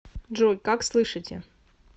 джой как слышите